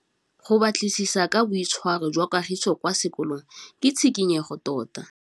Go batlisisa ka boitshwaro jwa Kagiso kwa sekolong ke tshikinyêgô tota.